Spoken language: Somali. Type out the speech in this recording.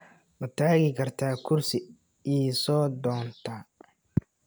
Ma tagi kartaa kursi ii soo doonta?